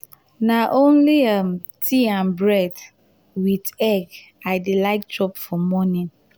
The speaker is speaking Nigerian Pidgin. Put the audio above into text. na only um tea and bread wit um egg i dey like chop for morning.